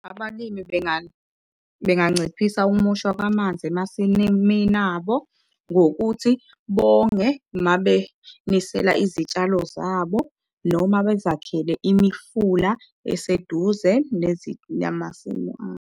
Abalimi benganciphisa ukumoshwa kwamanzi emasimini abo ngokuthi bonge mabenisela izitshalo zabo, noma bezakhele imifula eseduze namasimu abo.